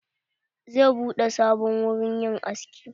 Zai buɗe sabon wurin yin aski.